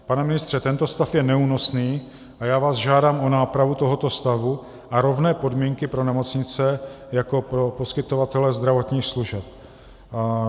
Pane ministře, tento stav je neúnosný a já vás žádám o nápravu tohoto stavu a rovné podmínky pro nemocnice jako pro poskytovatele zdravotních služeb.